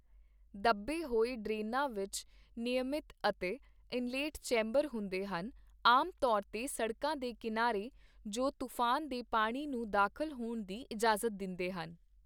ਦੱਬੇ ਹੋਏ ਡਰੇਨਾਂ ਵਿੱਚ ਨਿਯਮਿਤ ਅਤੇ ਇਨਲੈੱਟ ਚੈਂਬਰ ਹੁੰਦੇ ਹਨ ਆਮ ਤੌਰ 'ਤੇ ਸੜਕਾਂ ਦੇ ਕਿਨਾਰੇ ਜੋ ਤੂਫਾਨ ਦੇ ਪਾਣੀ ਨੂੰ ਦਾਖਲ ਹੋਣ ਦੀ ਇਜਾਜ਼ਤ ਦਿੰਦੇ ਹਨ